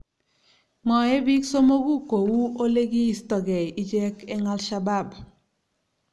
Mwaei bik somoku ko uu olekiistogei ichek eng Al-Shabaab